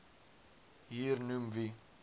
hier noem wie